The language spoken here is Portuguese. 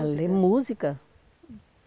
A ler música.